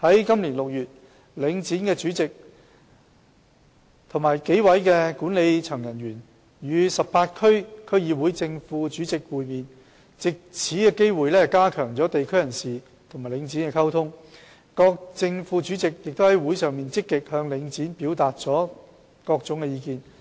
今年6月，領展的主席及幾位管理層人員與18區區議會的正副主席會面，藉此機會加強地區人士與領展的溝通，各正副主席於會上亦積極向領展表達各種意見。